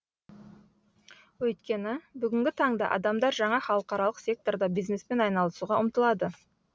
өйткені бүгінгі таңда адамдар жаңа халықаралық секторда бизнеспен айналысуға ұмтылады